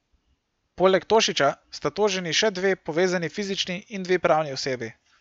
Poleg Tošića sta toženi še dve povezani fizični in dve pravni osebi.